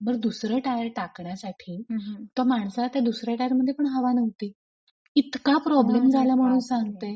बर दुसर टायर टाकण्यासाठी त्या माणसाला त्या दुसऱ्या टायरमध्ये पण हवा नव्हती. इतका प्रॉब्लेम झाला म्हणून सांगते!